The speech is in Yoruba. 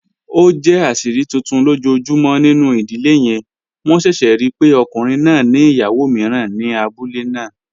O jẹ aṣiri tuntun lojoojumọ ninu idile yẹn, wọn ṣẹṣẹ rii pe ọkunrin naa ni iyawo miiran ni abule naa.